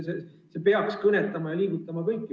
See peaks kõnetama ja liigutama kõiki.